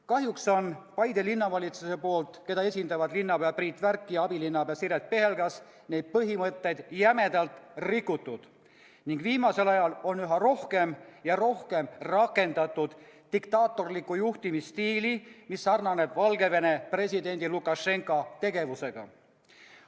Kahjuks on Paide Linnavalitsuse poolt, keda esindavad linnapea Priit Värk ja abilinnapea Siret Pihelgas, neid põhimõtteid jämedalt rikutud ning viimasel ajal on üha rohkem ja rohkem rakendatud diktaatorlikku juhtimisstiili, mis sarnaneb Valgevene presidendi Lukašenka tegevusega.